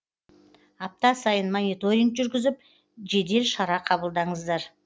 апта сайын мониторинг жүргізіп жедел шара қабылдаңыздар